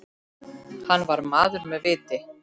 Hann var maður með viti.